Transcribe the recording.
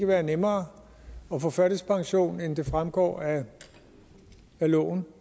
være nemmere at få førtidspension end det fremgår af loven